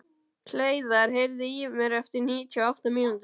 Hleiðar, heyrðu í mér eftir níutíu og átta mínútur.